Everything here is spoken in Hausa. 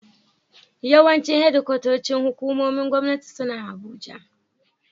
Yawancin shedikwatocin hukumomin Gwamnati suna Abuja.